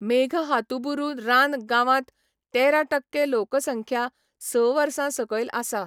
मेघहातुबुरु रान गांवांत तेरा टक्के लोकसंख्या स वर्सां सकयल आसा.